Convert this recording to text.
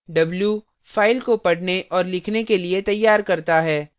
w –फाइल को पढ़ने और लिखने के लिए तैयार करता है